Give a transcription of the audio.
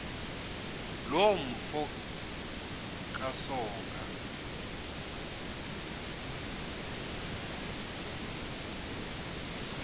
loo mfo kasoga